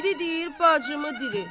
Biri deyir bacımı dirilt.